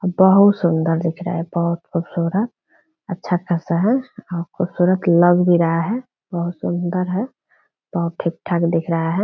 बहुत सुंदर दिख रहा है बहुत खुबसूरत अच्छा खासा है और खुबसूरत लग भी रहा है बहुत सुंदर है बहुत ठीक-ठाक दिख रहा है |